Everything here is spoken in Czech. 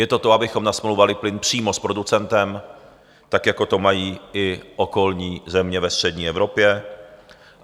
Je to to, abychom nasmlouvali plyn přímo s producentem, tak jako to mají i okolní země ve střední Evropě.